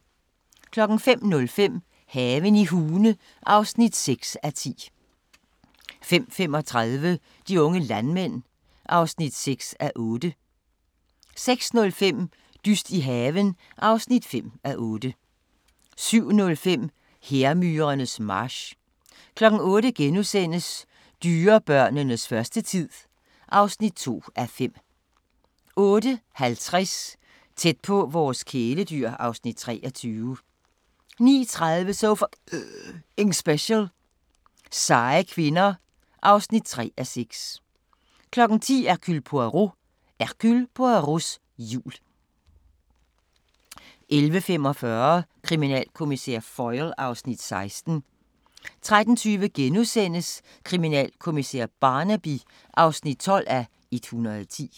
05:05: Haven i Hune (6:10) 05:35: De unge landmænd (6:8) 06:05: Dyst i haven (5:8) 07:05: Hærmyrernes march 08:00: Dyrebørnenes første tid (2:5)* 08:50: Tæt på vores kæledyr (Afs. 23) 09:30: So F***ing Special: Seje kvinder (3:6) 10:00: Hercule Poirot: Hercule Poirots jul 11:45: Kriminalkommissær Foyle (Afs. 16) 13:20: Kriminalkommissær Barnaby (12:110)*